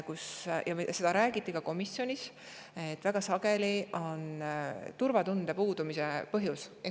Sellest räägiti ka komisjonis, et väga sageli on põhjus turvatunde puudumises.